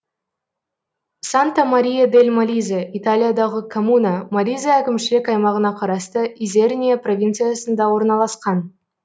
санта мария дель молизе италиядағы коммуна молизе әкімшілік аймағына қарасты изерния провинциясында орналасқан